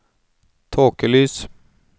tåkelys